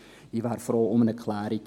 Ich wäre froh um eine Klärung.